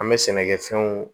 An bɛ sɛnɛkɛfɛnw